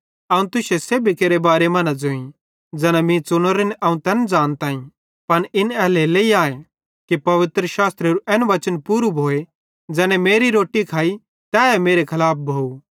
अवं तुसन सेब्भी केरे बारे मां न ज़ोईं ज़ैना मीं च़ुनोरेन अवं तैन ज़ानताईं पन इन एल्हेरेलेइ आए कि पवित्रशास्त्रेरू एन वचन पूरू भोए ज़ैने मेरी रोट्टी खाइ तैए मेरे खलाफ भोव